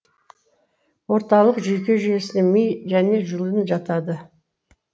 орталық жүйке жүйесіне ми және жұлын жатады